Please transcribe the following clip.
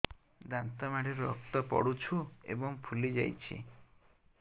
ଦାନ୍ତ ମାଢ଼ିରୁ ରକ୍ତ ପଡୁଛୁ ଏବଂ ଫୁଲି ଯାଇଛି